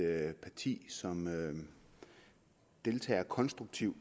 er et parti som deltager konstruktivt